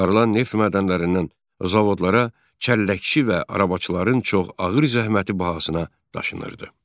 Çıxarılan neft mədənlərindən zavodlara çəlləkçi və arabacıların çox ağır zəhməti bahasına daşınırdı.